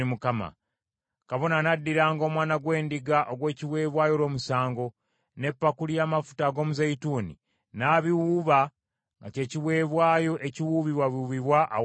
Kabona anaddiranga omwana gw’endiga ogw’ekiweebwayo olw’omusango, n’epakuli y’amafuta ag’omuzeeyituuni, n’abiwuuba nga kye kiweebwayo ekiwuubibwawuubibwa awali Mukama .